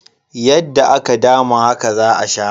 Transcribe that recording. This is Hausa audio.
Yadda aka dama haka za a sha.